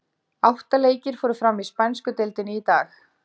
Átta leikir fóru fram í spænsku deildinni í dag.